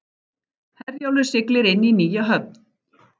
Herjólfur siglir inn í nýja höfn